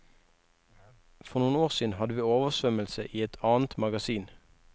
For noen år siden hadde vi oversvømmelse i et annet magasin.